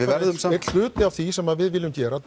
einn hluti af því sem við viljum gera